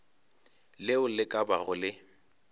leo le ka bago le